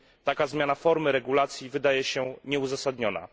Taka zmiana formy regulacji wydaje się nieuzasadniona.